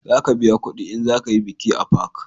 Za ka biya kudi in za ka yi biki a fak